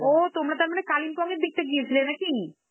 ও তোমরা তার মানে কালিম্পং এর দিকটা গিয়েছিলে নাকি?